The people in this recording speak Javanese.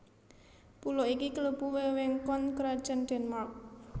Pulo iki klebu wewengkon Krajan Denmark